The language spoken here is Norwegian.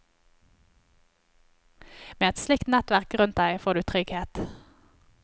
Med et slikt nettverk rundt deg får du trygghet.